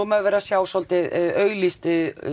maður verið að sjá svolítið auglýst